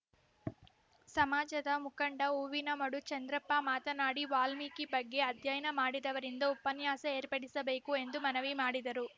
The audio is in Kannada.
ಸಮಾಜದ ಮುಖಂಡ ಹೂವಿನಮಡು ಚಂದ್ರಪ್ಪ ಮಾತನಾಡಿ ವಾಲ್ಮೀಕಿ ಬಗ್ಗೆ ಅಧ್ಯಯನ ಮಾಡಿದವರಿಂದ ಉಪನ್ಯಾಸ ಏರ್ಪಡಿಸಬೇಕು ಎಂದು ಮನವಿ ಮಾಡಿದರು